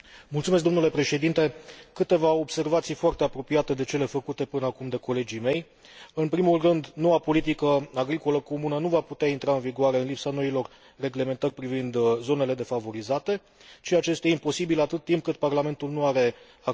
Câteva observații foarte apropiate de cele făcute până acum de colegii mei în primul rând, noua politică agricolă comună nu va putea intra în vigoare în lipsa noilor reglementări privind zonele defavorizate, ceea ce este imposibil, atât timp cât Parlamentul nu are acces la simulările realizate.